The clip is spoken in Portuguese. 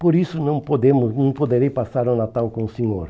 Por isso não podemos não poderei passar o Natal com o Senhor.